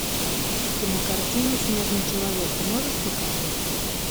кинокартина снежный человек ты можешь показать